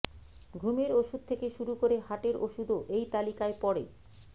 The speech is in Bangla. ঘুমের ওষুধ থেকে শুরু করে হার্টের ওষুধও এই তালিকায় পড়ে